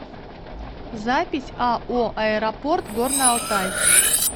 запись ао аэропорт горно алтайск